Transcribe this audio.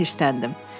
Guya hirsləndim.